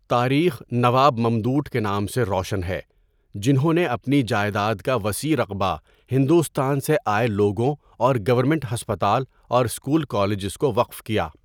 تاریخ نواب ممدوٹ کے نام سے روشن ہے جنہوں نے اپنی جاٸیداد کا وسیع رقبہ ہندوستان سے آٸے لوگوں اور گورنمنٹ ہسپتال اور سکول، کالجز کو وقف کیا.